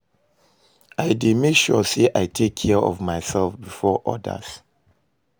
I dey make sure say i take care of myself before odas.